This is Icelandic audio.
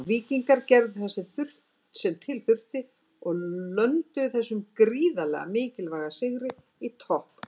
Víkingarnir gerðu það sem til þurfti og lönduðu þessum gríðarlega mikilvæga sigri í toppbaráttunni.